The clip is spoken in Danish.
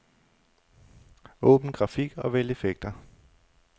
Åbn grafik og vælg effekter.